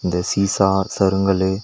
இதுல சீஸா சறுங்கலு.